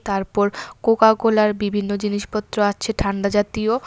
তারপর কোকাকোলার বিভিন্ন জিনিসপত্র আছে ঠান্ডা জাতীয়।